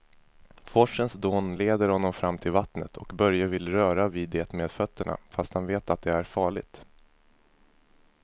Forsens dån leder honom fram till vattnet och Börje vill röra vid det med fötterna, fast han vet att det är farligt.